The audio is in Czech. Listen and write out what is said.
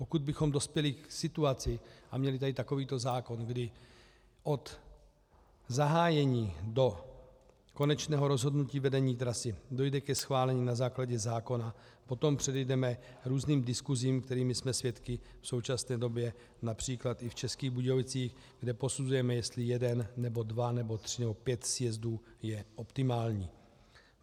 Pokud bychom dospěli k situaci a měli tady takovýto zákon, kdy od zahájení do konečného rozhodnutí vedení trasy dojde ke schválení na základě zákona, potom předejdeme různým diskusím, kterých jsme svědky v současné době například i v Českých Budějovicích, kde posuzujeme, jestli jeden nebo dva nebo tři nebo pět sjezdů je optimální.